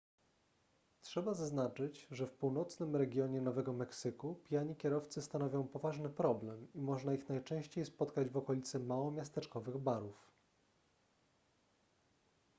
trzeba zaznaczyć że w północnym regionie nowego meksyku pijani kierowcy stanowią poważny problem i można ich najczęściej spotkać w okolicy małomiasteczkowych barów